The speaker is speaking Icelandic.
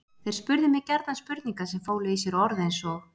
Þeir spurðu mig gjarnan spurninga sem fólu í sér orð eins og